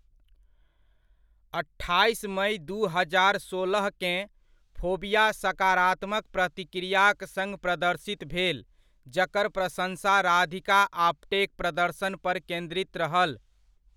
अट्ठाइस मइ दू हजार सोलहकेँ, फोबिया सकारात्मक प्रतिक्रियाक सङ्ग प्रदर्शित भेल जकर प्रशंसा राधिका आप्टेक प्रदर्शन पर केन्द्रित रहल।